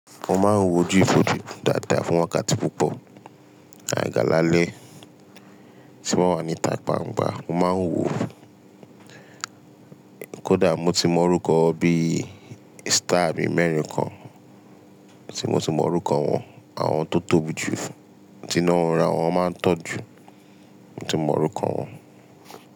Mo máa ń wojú ìfòjú dáadáa fún wákàtí púpọ̀. Àgaga lalẹ́ tí mo wà ní ita gbangbà, mo máa ń wo kódà mo ti mọ orúkọ bí star bí mẹ́rin kan tí mo ti mọ orúkọ wọn. Àwọn tó tóbi jù, tí iná wọn rà, wọ́n máa ń tan jù, mo ti mọ orúkọ wọn.